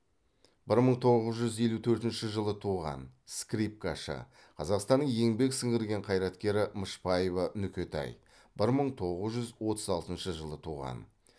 бір мың тоғыз жүз елу төртінші жылы туған скрипкашы қазақстанның еңбек сіңірген қайраткері мышбаева нүкетай бір мың тоғыз жүз отыз алтыншы жылы туған